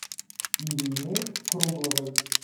ирины кругловой